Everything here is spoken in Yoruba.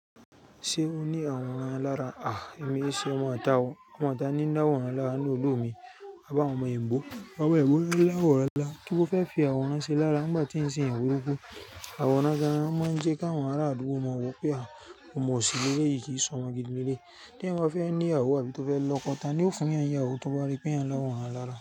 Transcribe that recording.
Ṣé ó ní àwòrán lára? Àh! Èmi ṣe ọmọ̀ tá o. Ọmọ̀'tá ní láwòrán lára nínú ìlú mi. Àbáwọn omọ èébó. Àwon omo èébó mo láwòrán lára. Kín mo fẹ́ fi àwòrán ṣe lára, nígbà tí ń ṣe eyan burúkú. Àwòrán gan o máa ń jẹ́ kí àwọn ará àdúgbò mọ̀ wípé a kò omọ òsì lelèyí kí ì sọmọ gidi lelèyí. Bí wọ́n bá fẹ́ ní'yàwó àbí tó fẹ́ lọ́kọ, ta ni ó fún'yán n'yàwó tó bá rí pé èèyàn lawọran lára.